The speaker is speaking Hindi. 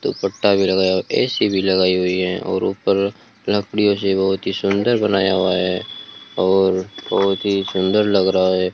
दो पट्टा लगाया भी हुआ ए_सी भी लगाई हुई है और ऊपर लकड़ियों से बहोत ही सुंदर बनाया हुआ है और बहोत ही सुंदर लग रहा है।